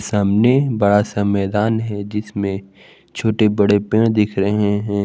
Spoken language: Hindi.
सामने बड़ा सा मैदान है जिसमें छोटे बड़े पेड़ दिख रहे हैं।